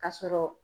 Ka sɔrɔ